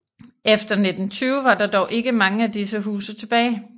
Efter 1920 var der dog ikke mange af disse huse tilbage